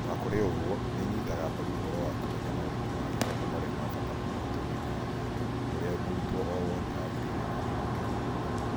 O na kũrĩ ũguo, nĩ ĩnyitaga mbaru ũhoro wa kũmenya maũndũ ma gĩthomo marĩa ma bata mũno ũtũũro-inĩ wa mũndũ ũrĩa mũrutwo o wothe agĩrĩirũo nĩ kwĩruta.